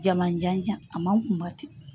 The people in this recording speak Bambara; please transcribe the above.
Jamanjanjan a man kunba ten.